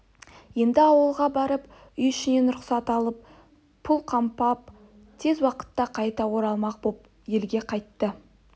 енді ауылға барып үй ішінен рұқсат алып пұл қамдап тез уақытта қайта оралмақ боп елге қайтты